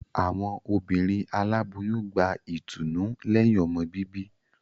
Awọn obìnrin Aláboyún gbà ìtùnú lẹhin ọmọ bíbí